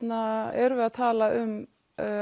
erum við að tala um